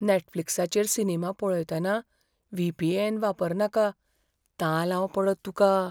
नॅटफ्लिक्साचेर सिनेमा पळयतना व्हीपीएन वापरनाका. तालांव पडत तुका.